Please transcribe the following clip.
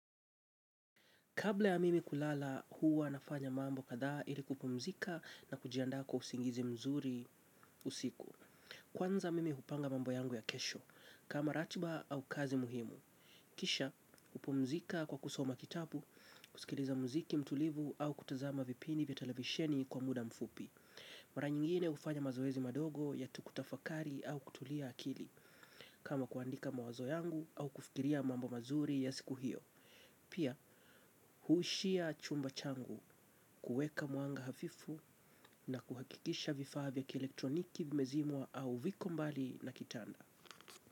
Kabla ya mimi kulala huwa nafanya mambo katha ili kupumzika na kujianda kwa usingizi mzuri usiku. Kwanza mimi upanga mambo yangu ya kesho, kama ratiba au kazi muhimu. Kisha, kupumzika kwa kusoma kitabu, kusikiliza mziki mtulivu au kutazama vipindi vya televisheni kwa muda mfupi. Mara nyingine ufanya mazoezi madogo yatu kutafakari au kutulia akili, kama kuandika mawazo yangu au kufikiria mambo mazuri ya siku hiyo. Pia huishia chumba changu kuweka mwanga hafifu na kuhakikisha vifaa vya kielektroniki vimezimwa au viko mbali na kitanda.